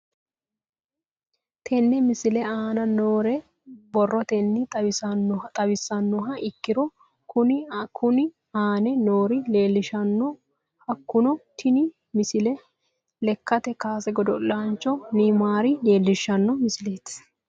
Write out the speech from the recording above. Tenne misile aana noore borrotenni xawisummoha ikirro kunni aane noore leelishano. Hakunno tinni misile lekkate kaase godo'laancho neyimaari leelishshano misileeti.